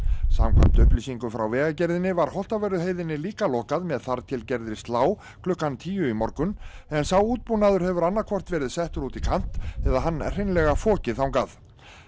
samkvæmt upplýsingum frá Vegagerðinni var Holtavörðuheiðinni líka lokað með þar til gerðri slá klukkan tíu í morgun en sá útbúnaður hefur annað hvort verið settur út í kant eða hann hreinlega fokið þangað